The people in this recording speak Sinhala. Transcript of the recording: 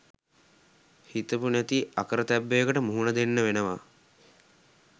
හිතපු නැති අකරතැබ්බයකට මුහුණ දෙන්න වෙනවා.